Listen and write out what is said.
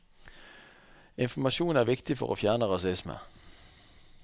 Informasjon er viktig for å fjerne rasisme.